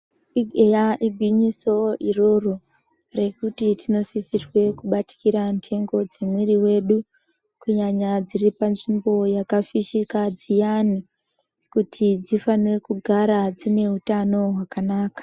Ii eya igwinyiso iroro rekuti tinosisirwe kubatikira ndingo dzemwiri wedu kunyanya dziripa nzvimbo yakafinyika dziyani kuti dzifanire kugara dzine utano hwakanaka.